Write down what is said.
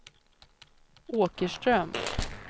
Åkerström